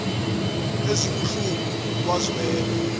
zazizwe ezibuhlungu kwazwela